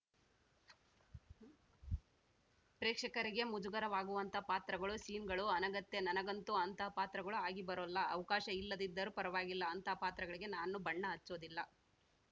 ಪ್ರೇಕ್ಷಕರಿಗೆ ಮುಜುಗರವಾಗುವಂತಹ ಪಾತ್ರಗಳು ಸೀನ್‌ಗಳು ಅನಗತ್ಯ ನನಂಗಂತೂ ಅಂತಹ ಪಾತ್ರಗಳು ಆಗಿ ಬರೋಲ್ಲ ಅವಕಾಶ ಇಲ್ಲದಿದ್ದರೂ ಪರ್ವಾಗಿಲ್ಲ ಅಂತಹ ಪಾತ್ರಗಳಿಗೆ ನಾನು ಬಣ್ಣ ಹಚ್ಚೋದಿಲ್ಲ